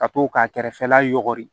Ka to k'a kɛrɛfɛla yɔgɔri